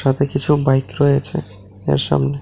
তাতে কিছু বাইক রয়েছে এর সামনে।